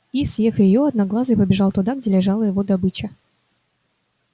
и съев её одноглазый побежал туда где лежала его добыча